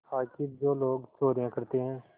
आखिर जो लोग चोरियॉँ करते हैं